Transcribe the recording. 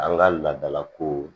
An ka laadalakow